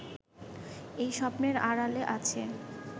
এই স্বপ্নের আড়ালে আছে